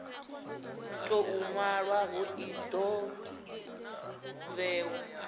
tou nwalwaho i do vhewa